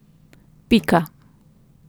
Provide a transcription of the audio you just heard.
Pika.